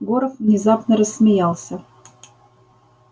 горов внезапно рассмеялся